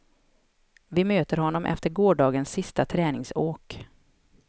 Vi möter honom efter gårdagens sista träningsåk.